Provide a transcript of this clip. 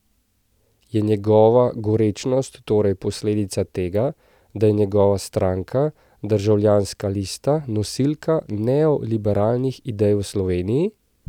Je njegova gorečnost torej posledica tega, da je njegova stranka, Državljanska lista, nosilka neoliberalnih idej v Sloveniji?